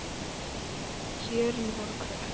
Kjörin voru kröpp.